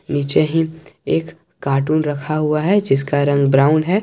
नीचे ही एक कार्टून रखा हुआ है जिसका रंग ब्राउन है।